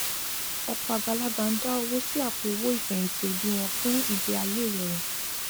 ọpọ àgbàlagbà ń dá owó sí àpò owó ìfẹyìntì òbí wọn fún ìgbé ayé ìrọrùn